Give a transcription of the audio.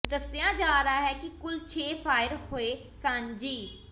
ਦੱਸਿਆ ਜਾ ਰਿਹਾ ਹੈ ਕਿ ਕੁਲ ਛੇ ਫਾਇਰ ਹੋਏ ਸਨ ਜਿ